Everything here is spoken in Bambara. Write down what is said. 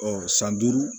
san duuru